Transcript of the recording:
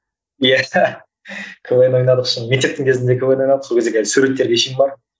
иә квн ойнадық шын мектептің кезінде квн ойнадық сол кездегі әлі суретке шейін бар